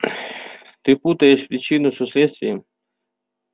ты путаешь причину со следствием